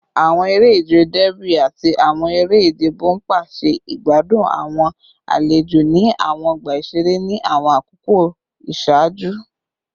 Awọn ere-ije Derby ati awọn ere-ije bompa ṣe igbadun awọn alejo ni awọn ọgba iṣere ni awọn akoko iṣaaju